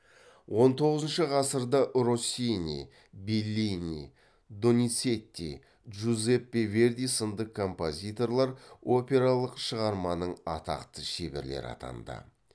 он тоғызыншы ғасырда россини беллини доницетти джузеппе верди сынды композиторлар опералық шығарманың атақты шеберлері атанды